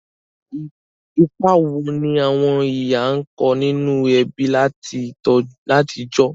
Ìpa wo ni àwon ìyá n ko ninú ebí látijọ̀?